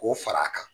K'o fara a kan